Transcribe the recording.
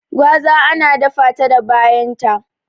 Gwaza ana data ta da bayan ta